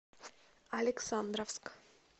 александровск